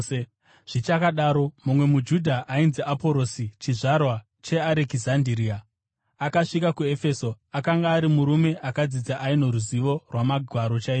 Zvichakadaro, mumwe muJudha ainzi Aporosi, chizvarwa cheArekizandiria, akasvika kuEfeso. Akanga ari murume akadzidza, aino ruzivo rwaMagwaro chaizvo.